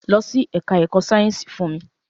Lọ sí ẹka ẹ̀kọ́ sáyẹnsì fún mi!